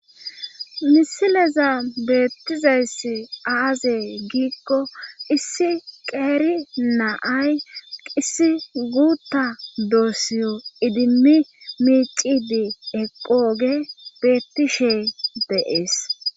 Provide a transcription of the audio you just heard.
misileza beettizayssi aaze giikko issi qeeri naay issi guuta doossiyo idimmi miicidi eqhooge beettishey dees